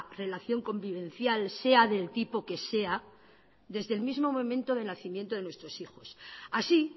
relación convivencial sea del tipo que sea desde el mismo momento del nacimiento de nuestros hijos así